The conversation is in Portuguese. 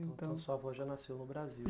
Então, sua avó já nasceu no Brasil.